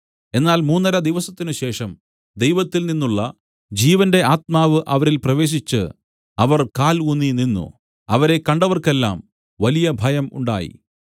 എന്നാൽ മൂന്നര ദിവസത്തിനുശേഷം ദൈവത്തിൽനിന്നുള്ള ജീവന്റെ ആത്മാവ് അവരിൽ പ്രവേശിച്ച് അവർ കാൽ ഊന്നിനിന്നു അവരെ കണ്ടവർക്കെല്ലാം വലിയ ഭയം ഉണ്ടായി